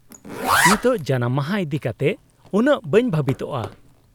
-ᱱᱤᱛᱚᱜ ᱡᱟᱱᱟᱢ ᱢᱟᱦᱟ ᱤᱫᱤ ᱠᱟᱛᱮᱫ ᱩᱱᱟᱹᱜ ᱵᱟᱹᱧ ᱵᱷᱟᱵᱤᱛᱚᱜᱼᱟ ᱾